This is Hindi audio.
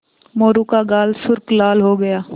मोरू का गाल सुर्ख लाल हो गया